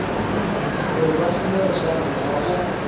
uri vha shumele shango avho